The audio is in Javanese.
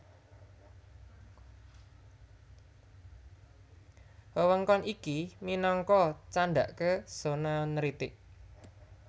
Wewengkon iki minangka candhaké zona neritik